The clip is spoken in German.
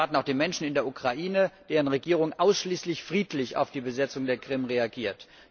Das erwarten auch die Menschen in der Ukraine, deren Regierung ausschließlich friedlich auf die Besetzung der Krim reagiert.